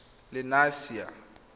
lenasia